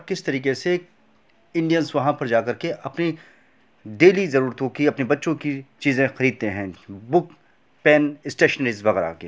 किस तरीके से इंडियनस वहां पर जा करके अपनी डेली जरूरतो की अपने बच्चों की चीज़े खरीदते हैं। बुक पेन स्टेशनरी वगैरा के |